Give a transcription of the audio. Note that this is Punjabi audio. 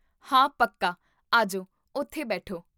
ਹਾਂ, ਪੱਕਾ, ਆਜੋ ਓਥੇ ਬੈਠੋ